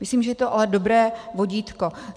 Myslím, že je to ale dobré vodítko.